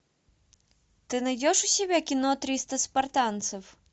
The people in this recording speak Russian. ты найдешь у себя кино триста спартанцев